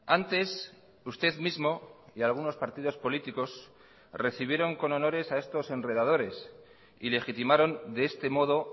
antes usted mismo y algunos partidos políticos recibieron con honores a estos enredadores y legitimaron de este modo